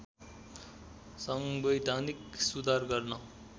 संवैधानिक सुधार गर्न